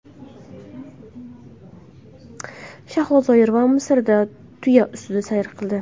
Shahlo Zoirova Misrda tuya ustida sayr qildi.